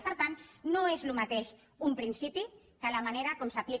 i per tant no és el mateix un principi que la manera com s’aplica